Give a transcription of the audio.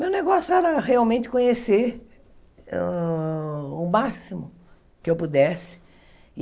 Meu negócio era realmente conhecer hã o máximo que eu pudesse.